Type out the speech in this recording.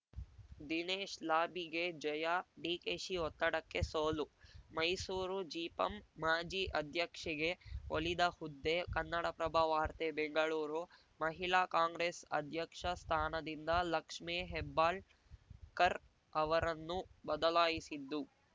ದಿನೇಶ್‌ ಲಾಬಿಗೆ ಜಯ ಡಿಕೆಶಿ ಒತ್ತಡಕ್ಕೆ ಸೋಲು ಮೈಸೂರು ಜಿಪಂ ಮಾಜಿ ಅಧ್ಯಕ್ಷೆಗೆ ಒಲಿದ ಹುದ್ದೆ ಕನ್ನಡಪ್ರಭ ವಾರ್ತೆ ಬೆಂಗಳೂರು ಮಹಿಳಾ ಕಾಂಗ್ರೆಸ್‌ ಅಧ್ಯಕ್ಷ ಸ್ಥಾನದಿಂದ ಲಕ್ಷ್ಮೇ ಹೆಬ್ಬಾಳ್ಕರ್‌ ಅವರನ್ನು ಬದಲಾಯಿಸಿದ್ದು